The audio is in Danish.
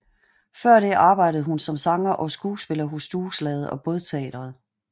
Før det arbejdede hun som sanger og skuespiller hos Dueslaget og Bådteatret